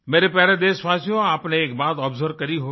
मेरे प्यारे देशवासियो आपने एक बात आब्जर्व करी होगी